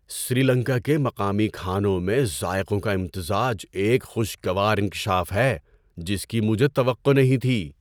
سری لنکا کے مقامی کھانوں میں ذائقوں کا امتزاج ایک خوشگوار انکشاف ہے جس کی مجھے توقع نہیں تھی۔